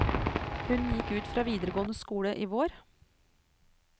Hun gikk ut fra videregående skole i vår.